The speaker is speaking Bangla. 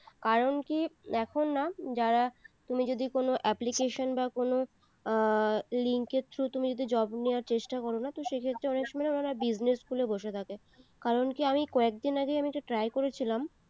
কারণ কি এখন না যারা তুমি যদি কোনো application বা কোনো আহ link এর through তুমি যদি job নেওয়ার চেষ্টা করোনা তো সে ক্ষেত্রে অনেক সময় না উনারা business খুলে বসে থাকে কারণ কি আমি কয়েকদিন আগে আমি try করেছিলাম